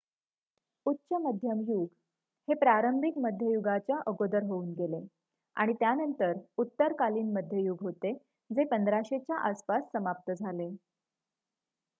उच्च मध्यम युग हे प्रारंभिक मध्ययुगाच्या अगोदर होऊन गेले आणि त्यानंतर उत्तरकालीन मध्ययुग होते जे 1500 च्या आसपास समाप्त झाले